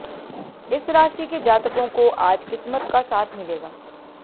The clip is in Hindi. इस राशि के जातकों को आज किस्समत का साथ मिलेगा